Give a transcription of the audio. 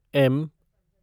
M